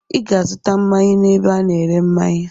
I ga-azụta mmanya n'ebe a na-ere mmanya!